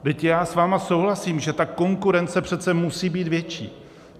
Vždyť já s vámi souhlasím, že ta konkurence přece musí být větší.